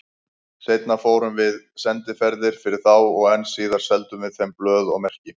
Seinna fórum við sendiferðir fyrir þá og enn síðar seldum við þeim blöð og merki.